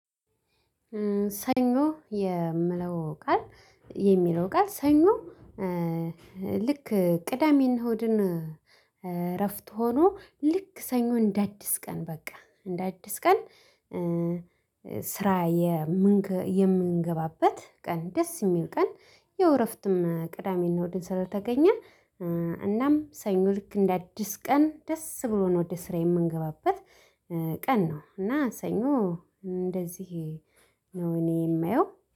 ሰኞ የምለው ቃል የሚለው ቃል ሰኞ። ልክ ቅዳሜ እና እሁድን እረፍት ሆኖ ልክ ሰኞ እንደ አዲስ ቀን በቃ እንደ አዲስ ቀን። ስራ የምን የምንገባበት ቀን ደስ የሚል ቀን ያው እረፍትም ቅዳሜና እሁድ ስለተገኘ እናም ሰኞ ልክ እንደ አዲስ ቀን ደስ ብሎ ነው ወደ ስራ የምንገባበት ቀን ነው። እና ሰኞ እንደዚህ ነው እኔ የማየው